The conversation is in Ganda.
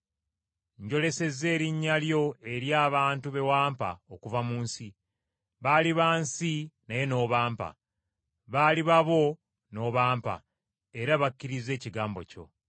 “Njolesezza erinnya lyo eri abantu be wampa okuva mu nsi. Baali ba nsi naye n’obampa. Baali babo n’obampa era bakkirizza ekigambo kyo.